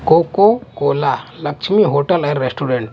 cocoa Cola Lakshmi hotel है restaurant --